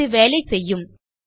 இது வேலை செய்யும்